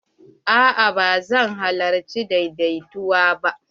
A'a ba zan halarci daidaituwan ba.